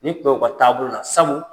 Nin tun bƐ ka taabolo la sabu